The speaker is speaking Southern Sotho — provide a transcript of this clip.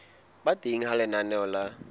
ba teng ha lenaneo la